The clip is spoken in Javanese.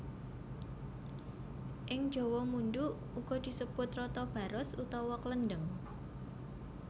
Ing jawa mundhu uga disebut rata baros utawa klendheng